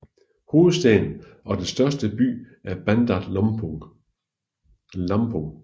Hovedstaden og den største by er Bandar Lampung